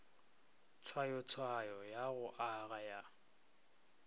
tshwayotshwayo ya go aga ya